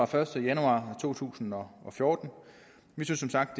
første januar to tusind og fjorten vi synes som sagt